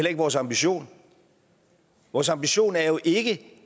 ikke vores ambition vores ambition er jo ikke